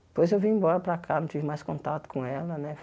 Depois eu vim embora para cá, não tive mais contato com ela né.